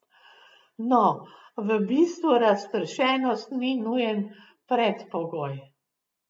No, v bistvu razpršenost ni nujen predpogoj.